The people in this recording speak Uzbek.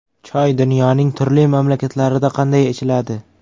Choy dunyoning turli mamlakatlarida qanday ichiladi?.